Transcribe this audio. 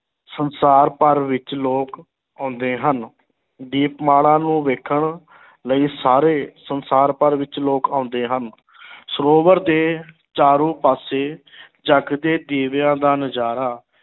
ਸੰਸਾਰ ਭਰ ਵਿੱਚ ਲੋਕ ਆਉਂਦੇ ਹਨ, ਦੀਪਮਾਲਾ ਨੂੰ ਵੇਖਣ ਲਈ ਸਾਰੇ ਸੰਸਾਰ ਭਰ ਵਿੱਚ ਲੋਕ ਆਉਂਦੇ ਹਨ ਸਰੋਵਰ ਦੇ ਚਾਰੋਂ ਪਾਸੇ ਜਗਦੇ ਦੀਵਿਆਂ ਦਾ ਨਜ਼ਾਰਾ